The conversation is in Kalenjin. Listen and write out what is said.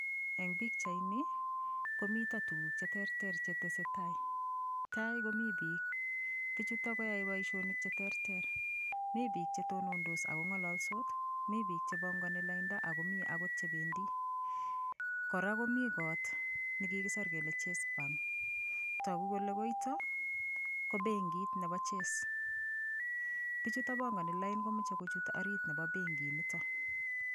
Eng pichaini komito kukuk cheterter che tesetai, Tai komi piik, piichutok koyaei boishonik cheteretrer mi piik chetonotos akon'galalsot, mi piik chebongoni lainda, ako akot chebendi. Kora komi koot nekikiser kole chase bank, togu kole koitok ko bekit nebo chase. Piichutok bongoni lain komachei kochut benki nitok.